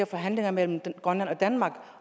forhandlinger mellem grønland og danmark